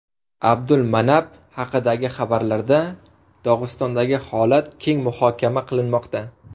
Abdulmanap haqidagi xabarlarda Dog‘istondagi holat keng muhokama qilinmoqda.